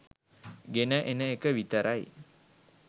ගෙන එන එක විතරයි.